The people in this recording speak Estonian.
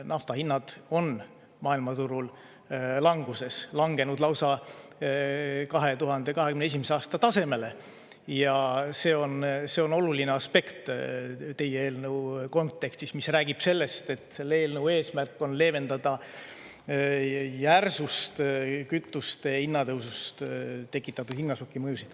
Nafta hinnad on maailmaturul languses, langenud lausa 2021. aasta tasemele ja see on oluline aspekt teie eelnõu kontekstis, mis räägib sellest, et selle eelnõu eesmärk on leevendada järsust kütuste hinna tõusust tekitatud hinnašoki mõjusid.